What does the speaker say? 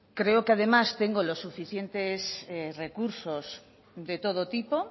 creo que además tengo los suficientes recursos de todo tipo